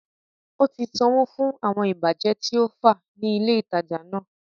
Ó ti sanwó fún àwọn ìbàjẹ́ tí ó fá ní ilè ìtajà náà